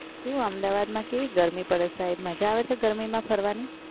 શું અમદાવાદમાં કેવી ગરમી પડે સાહેબ? મજા આવે છે ગરમીમાં ફરવાની?